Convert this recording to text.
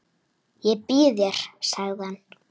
Ég býð þér, sagði hann.